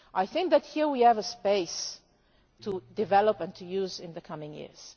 I think that here we have a space to develop and to use in the coming years.